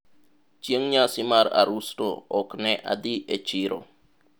chieng' nyasi mar arusno ok ne adhi e chiro